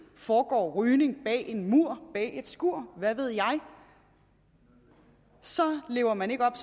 foregår rygning bag en mur bag et skur hvad ved jeg så lever man ikke op